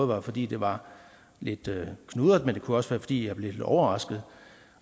være fordi det var lidt knudret men det kunne også være fordi jeg blev lidt overrasket